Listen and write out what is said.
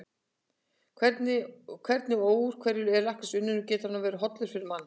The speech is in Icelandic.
Hvernig og úr hverju er lakkrís unninn og getur hann verið hollur fyrir mann?